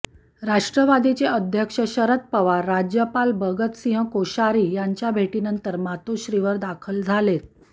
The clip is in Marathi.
राष्ट्रवादीचे अध्यक्ष शरद पवार राज्यापाल भगतसिंग कोश्यारी यांच्या भेटीनंतर मातोश्रीवर दाखल झालेत